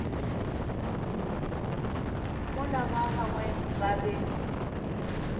mola ba bangwe ba be